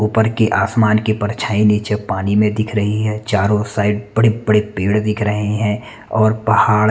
ऊपर के आसमान की परछाई नीचे पानी में दिख रही है चारो साइड बड़े-बड़े पेड़ दिख रहे है और पहाड़--